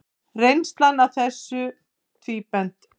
Reynslan af þessu tvíbent.